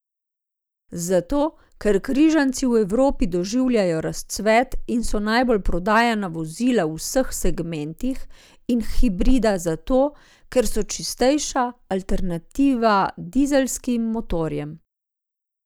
Zato, ker križanci v Evropi doživljajo razcvet in so najbolj prodajana vozila v vseh segmentih in hibrida zato, ker so čistejša alternativa dizelskim motorjem.